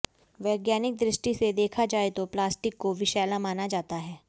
वैज्ञानिक दृष्टि से देखा जाए तो प्लास्टिक को विषैला माना जाता है